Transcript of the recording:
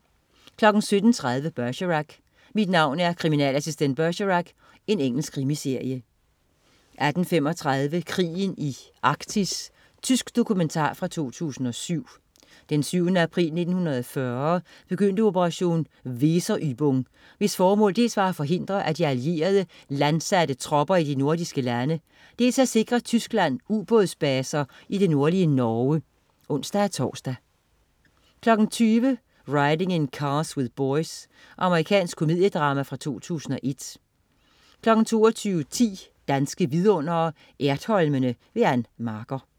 17.30 Bergerac: Mit navn er kriminalassistent Bergerac. Engelsk krimiserie 18.35 Krigen i Arktis. Tysk dokumentar fra 2007. Den 7. april 1940 begyndte operation Weserübung, hvis formål dels var at forhindre de allierede i at landsætte tropper i de nordiske lande, dels at sikre Tyskland ubådsbaser i det nordlige Norge (ons-tors) 20.00 Riding in Cars With Boys. Amerikansk komediedrama fra 2001 22.10 Danske Vidundere: Ertholmene. Ann Marker